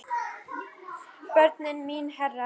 Börnin mín herra.